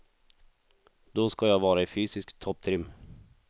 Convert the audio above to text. Då ska jag vara i fysisk topptrim.